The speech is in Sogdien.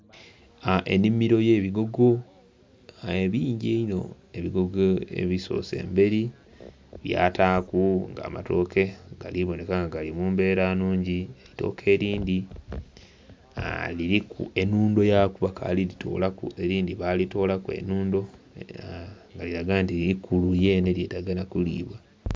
Ennhimiro y'ebigogo, ebingi einho. Ebigogo ebisoose emberi byataaku nga amatooke gali bonheka nga gali mu mbeera nnhungi. Eitooke elindhi liriku enhundo yaku, bakaali gitoolaku, elindhi baalitolaku enhundo, nga liraga nti ikulu lyenhe lyetaaga nha kulibwa.